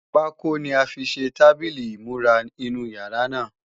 Pákó ni a fi ṣe tábìlì ìmúra inú yàrá náà